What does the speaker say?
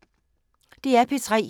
DR P3